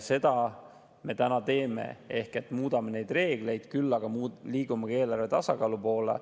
Seda me täna ka teeme: muudame neid reegleid, aga liigume ka eelarvetasakaalu poole.